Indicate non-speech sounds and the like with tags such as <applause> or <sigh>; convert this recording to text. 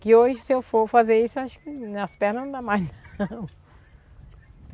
Que hoje, se eu for fazer isso, acho que nas pernas não dá mais, não. <laughs>